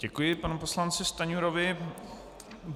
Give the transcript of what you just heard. Děkuji panu poslanci Stanjurovi.